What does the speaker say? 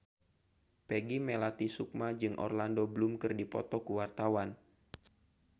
Peggy Melati Sukma jeung Orlando Bloom keur dipoto ku wartawan